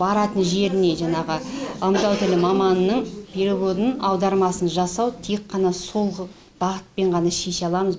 баратын жеріне жаңағы ымдау тілі маманының переводын аудармасын жасау тек қана сол бағытпен ғана шеше аламыз